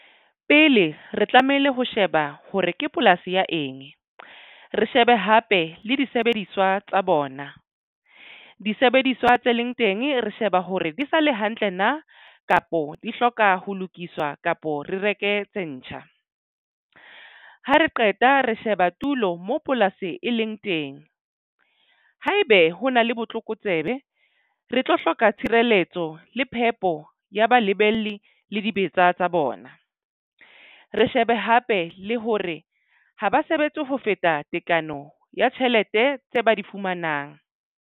Pele re tlamehile ho sheba hore ke polasi ya eng, re shebe hape le disebediswa tsa bona disebediswa tse leng teng re sheba hore di sa le hantle na kapo di hloka ho lokiswa kapo re reke tse ntjha. Ha re qeta re sheba tulo mo polasi e leng teng haebe ho na le botlokotsebe re tlo hloka tshireletso le phepo ya balibele le dibetsa tsa bona. Re shebe hape le hore ha ba sebetse ho feta tekano ya tjhelete tse ba di fumanang.